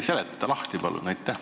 Seleta lahti, palun!